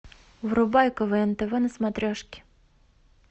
врубай квн тв на смотрешке